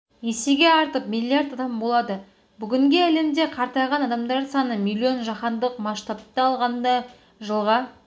есеге артып миллион адам болады бүгінге әлемде қартайған адамдар саны миллион жаһандық масштабта алғанда жыдға